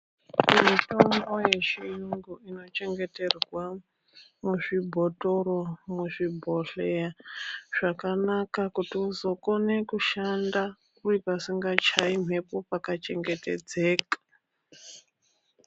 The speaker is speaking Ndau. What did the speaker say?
Mutombo yechiyungu inochengeterwa muzvibhothoro, muzvibhodhleya zvakanaka kuti uzokone kushanda uri pasingachayi mphepo uye pakachengetedzeka.